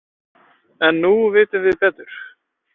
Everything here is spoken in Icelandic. En nú vitum við betur.